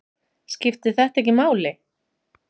Skiptir þetta ekki máli?